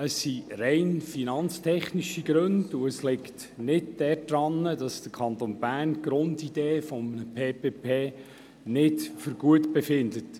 Es sind rein finanztechnische Gründe, und es liegt nicht daran, dass der Kanton Bern die Grundidee von PPP nicht gut findet.